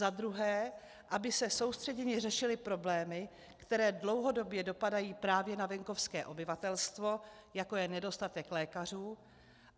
Za druhé, aby se soustředěně řešily problémy, které dlouhodobě dopadají právě na venkovské obyvatelstvo, jako je nedostatek lékařů.